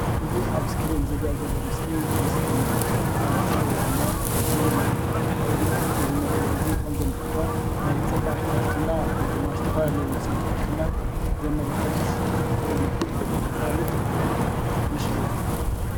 እዚ ኣብ እስክሪን ዝረአ ዘሎ ምስሊ ምስሊ መፋለጢ ወይ ድማ መለለዪ ኮይኑ እዚ መለለዩ ከም ዘመልክቶ ናይ ፅባቂት ባልትና ወይ ድማ ዝተፈላለዩ ዉጺኢት ባልትና ዘመላክት ወይ ድማ ዘፋልጥ ምስሊ እዩ።